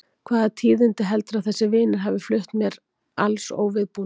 Og hvaða tíðindi heldurðu að þessir vinir hafi flutt mér alls óviðbúnum?